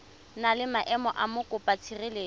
na le maemo a mokopatshireletso